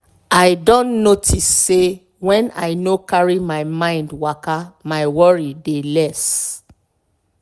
i don notice say when i no carry my mind waka my worry dey less.